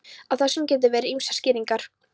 Á þessu geta verið ýmsar skýringar.